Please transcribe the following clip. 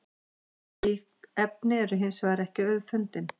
slík efni eru hins vegar ekki auðfundin